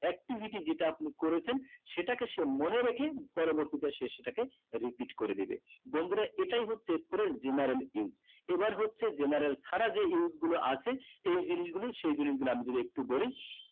activity যেটা আপনি করেছেন সেটাকে সে মনে রেখে পরবর্তীতে সে সেটাকে repeart করে দেবে বন্ধুরা এটাই হচ্ছে press general is এবার হচ্ছে general ছাড়া যেই গুলো আছে এই জিনিস গুলো সেই জিনিস গুলো আমি যদি একটু বলি